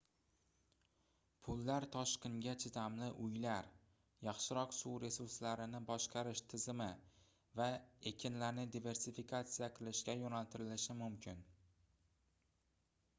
pullar toshqinga chidamli uylar yaxshiroq suv resurslarini boshqarish tizimi va ekinlarni diversifikatsiya qilishga yoʻnaltirilishi mumkin